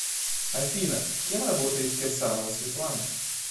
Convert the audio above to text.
афина кем работает кирсанова светлана